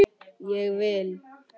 Ég vil!